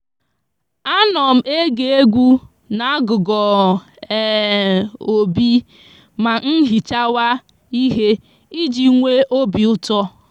a no m ege egwu n'agugom um obi ma nhichawa ihe iji nwe obiuto